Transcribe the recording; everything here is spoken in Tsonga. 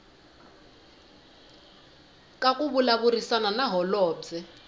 ka ku vulavurisana na holobye